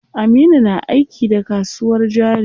Aminu na aiki da kasuwar jari.